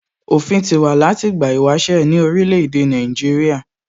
Òfin ti wà láti ìgbà ìwáṣẹ̀ ní orílè èdè Nàìjíríà